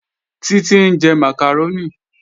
Títí ń jẹ màkàrónì